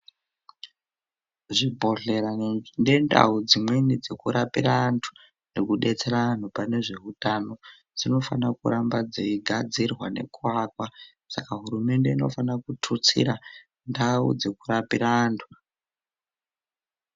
Zvibhodhlera ngendawo dzimweni dzokurapira antu, nekudetsera anhu panezvewutano, dzinofanira kuramba dziyigadzirwa neku wakwa. Saka hurumende inofanira kuthutsira ndau dzekurapira antu.